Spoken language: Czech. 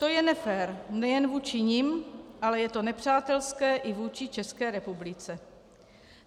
To je nefér nejen vůči nim, ale je to nepřátelské i vůči České republice.